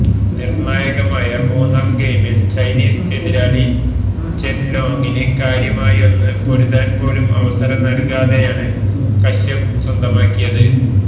നിര്ണായകമായ മൂന്നാം ഗെയിമില് ചൈനീസ് എതിരാളി ചെന് ലോങിന് കാര്യമായൊന്ന് പൊരുതാന് പോലും അവസരം നല്കാതെയാണ് കശ്യപ് സ്വന്തമാക്കിയത്